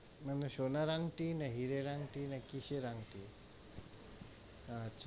মানে সোনার আংঠি, না হীরের আংঠি, না কিসের আংঠি? আচ্ছা।